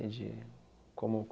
Entendi. Como